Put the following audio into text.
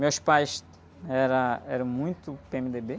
Meus pais, era, eram muito pê-eme-dê-bê.